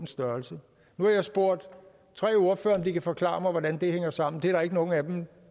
størrelse nu har jeg spurgt tre ordførere om de kan forklare mig hvordan det hænger sammen det er der ikke nogen af dem